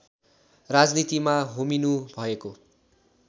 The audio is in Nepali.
राजनीतिमा होमिनु भएको